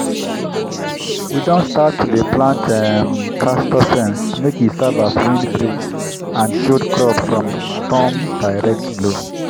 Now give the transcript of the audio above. we don start to dey plant um castor fence make e serve as windbreak and shield crop from storm direct blow.